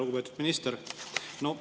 Lugupeetud minister!